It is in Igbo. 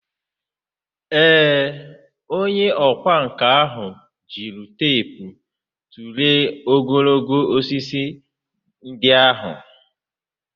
Ee, onye ọkwá nkà ahụ jiri teepu tụlee ogologo osisi ndị ahụ.